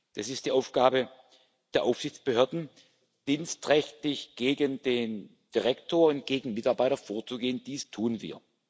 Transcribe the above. Es ist die Aufgabe der Aufsichtsbehörden, dienstrechtlich gegen den Direktor und gegen Mitarbeiter vorzugehen. Dies tun wir.